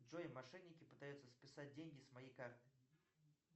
джой мошенники пытаются списать деньги с моей карты